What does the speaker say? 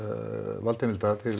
valdheimilda til